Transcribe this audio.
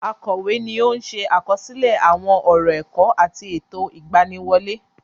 Akọ̀wé ni ó ń se àkọsílẹ àwọn ọ̀rọ ẹ̀kọ́ àti ètò ìgbaniwọlé.